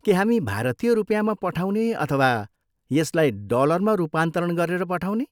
के हामी भारतीय रुपिँयामा पठाउने अथवा यसलाई डलरमा रूपान्तरण गरेर पठाउने?